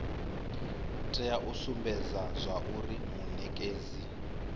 tea u sumbedza zwauri munekedzi